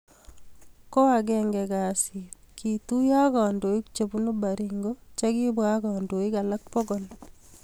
Ko agenge kasit, kituyo ak kandoik che bunu Baringo che kibwa ak kandoik alak pokol